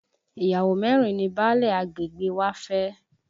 Ìyàwó mẹ́rin ni báálẹ̀ agbègbè wa fẹ́